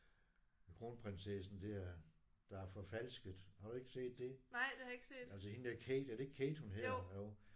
Kronprinsessen dér der er forfalsket har du ikke set det? Altså hende der Kate er det ikke Kate hun hedder? Jo